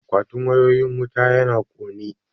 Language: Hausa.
Akwatin wayoyin wuta yana kone